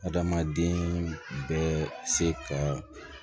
Adamaden bɛɛ se ka